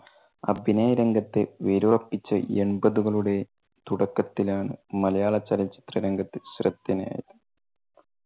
അഭിനയ രംഗത്ത് വേരുറപ്പിച്ച് എൺപതുകളുടെ തുടക്കത്തിലാണ് മലയാള ചലച്ചിത്ര രംഗത്ത് ശ്രദ്ധേയൻ ആയത്